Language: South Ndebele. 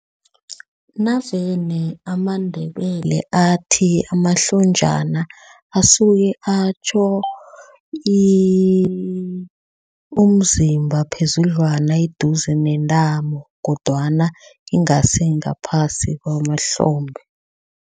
Navane amaNdebele athi amahlonjana asuke atjho umzimba phezudlwana eduze nentambo kodwana ingasi ngaphasi kwamahlombe.